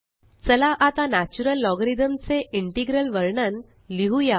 चला आता natural logarithm चे इंटेग्रल वर्णन लिहुया